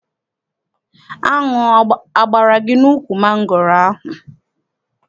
Aṅụ agbara gị n'ukwu mangoro ahụ?